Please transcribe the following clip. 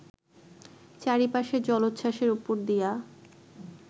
চারিপাশের জলোচ্ছাসের উপর দিয়া